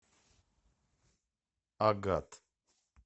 агат